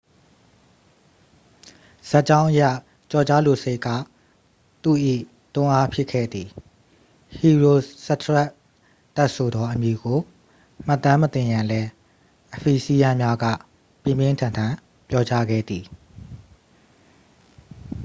ဇာတ်ကြောင်းအရ ကျော်ကြားလိုစိတ်က သူ့၏ တွန်းအားဖြစ်ခဲ့သည် ဟီရိုစထရက်တက်စ်ဆိုသောအမည်ကို မှတ်တမ်းမတင်ရန်လည်း အဖီဆီယန်းများက ပြင်းပြင်းထန်ထန် ပြောကြားခဲ့သည်